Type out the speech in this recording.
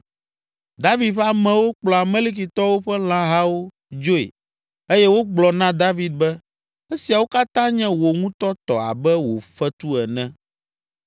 David ƒe amewo kplɔ Amalekitɔwo ƒe lãhawo dzoe eye wogblɔ na David be, “Esiawo katã nye wò ŋutɔ tɔ abe wò fetu ene.”